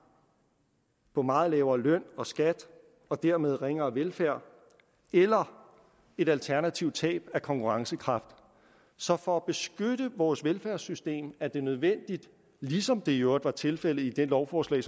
på meget lavere løn og skat og dermed ringere velfærd eller et alternativt tab af konkurrencekraft så for at beskytte vores velfærdssystem er det nødvendigt ligesom det i øvrigt var tilfældet i det lovforslag